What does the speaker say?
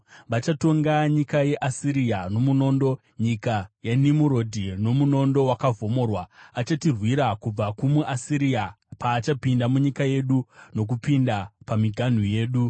Vachatonga nyika yeAsiria nomunondo, nyika yaNimurodhi nomunondo wakavhomorwa. Achatirwira kubva kumuAsiria paachapinda munyika yedu nokupinda pamiganhu yedu.